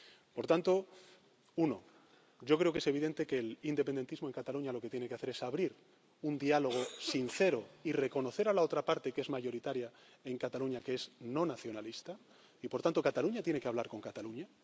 Por tanto, primero, yo creo que es evidente que el independentismo en Cataluña lo que tiene que hacer es abrir un diálogo sincero y reconocer a la otra parte, que es mayoritaria en Cataluña, que es no nacionalista, y, por tanto, Cataluña tiene que hablar con Cataluña.